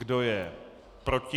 Kdo je proti?